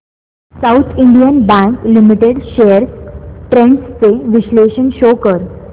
south Indian bank limited shares trends चे विश्लेषण show कर